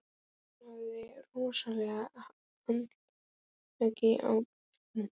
Hún hafði krosslagt handleggina á brjóstinu.